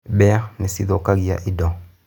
Mbĩa nĩ cithũkagia indo.